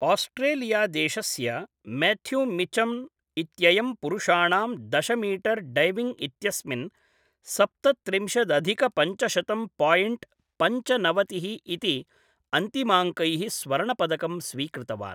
आस्ट्रेलियादेशस्य Matthew Mitcham इत्ययं पुरुषाणां दश मीटर् डैविङ्ग् इत्यस्मिन् सप्त त्रिंशद् अधिक पञ्चशतं पायिण्ट् पञ्चनवतिः इति अन्तिमाङ्कैः स्वर्णपदकं स्वीकृतवान्।